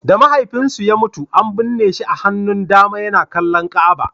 Da mahaifinsu ya mutu, an binne shi a hannun dama yana kallon Ka'aba.